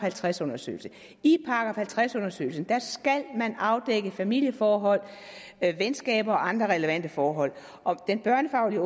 halvtreds undersøgelse i § halvtreds undersøgelsen skal man afdække familieforhold venskaber og andre relevante forhold og den børnefaglige